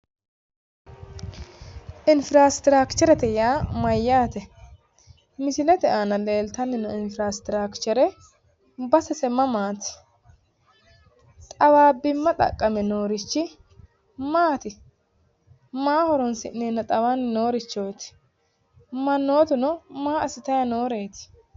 Infiraastiraakcherete yaa mayyaate? Misilete aana leeltanni noo infiraastiraakchere basese mamaati? Xawaabbimma xaqqame noorichi maati? Maa horoonsi'neenna xawanni noorichooti? Mannootuno maa assitayi nooreeti?